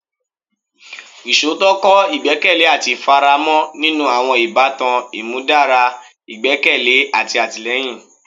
Iṣootọ kọ igbẹkẹle ati ifaramo ninu awọn ibatan, imudara igbẹkẹle ati atilẹyin